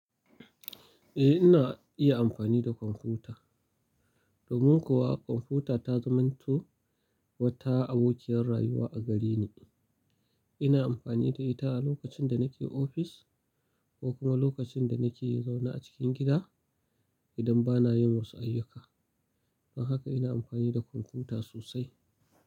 Eh, ina iya amfani da kwamfuta. Domin kuwa kwamfuta ta zamanto wata abokiyar rayuwa a gare ni. Ina amfani da ita a lokacin da nake ofis ko kuma lokacin da nake zaune a cikin gida idan bana yin wasu ayyuka. Don haka ina amfani da kwamfuta sosai.